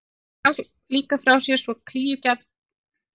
Hún gaf líka frá sér svo klígjulegan ódaun að hann kúgaðist.